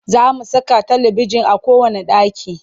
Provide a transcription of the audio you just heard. Za mu saka talibijin a kowanne ɗaki